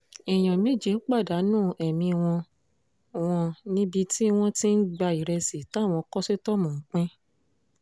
èèyàn méje pàdánù ẹ̀mí wọn wọn níbi tí wọ́n ti ń gba ìrẹsì táwọn kọ́sítọ́ọ̀mù ń pín